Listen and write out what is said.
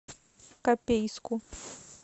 копейску